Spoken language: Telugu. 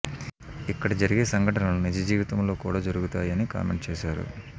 ఇక్కడ జరిగే సంఘటనలు నిజజీవితంలో కూడా జరుగుతాయి అని కామెంట్ చేశారు